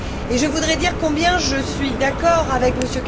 Je voudrais dire combien je suis d'accord avec M.